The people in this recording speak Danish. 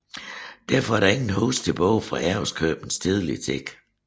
Derfor er der ingen huse tilbage fra Ærøskøbings tidlige tider